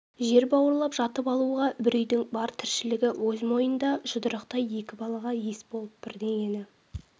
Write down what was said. жер бауырлап жатып алуға бір үйдің бар тіршілігі өз мойнында жұдырықтай екі балаға ес болып бірдеңені